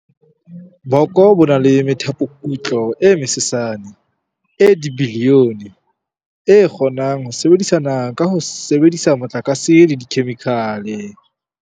Boko bo na le methapokutlo e mesesane, e dibilione, e kgonang ho sebedisana ka ho sebedisa motlakase le dikhemikhale.